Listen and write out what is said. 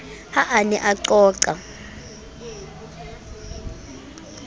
ha a ne a qoqa